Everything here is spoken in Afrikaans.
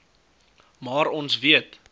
maar ons weet